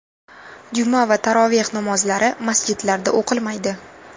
Juma va taroveh namozlari masjidlarda o‘qilmaydi.